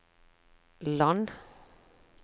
land